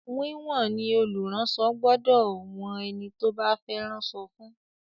Wíwọ̀n ni olùránsọ gbọdọ̀ wọn ẹni tó bá fẹ́ ránṣọ fún.